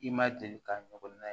I ma deli ka ɲɔgɔn na ye